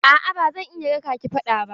A'a ba zan iya raƙa ki fada ba.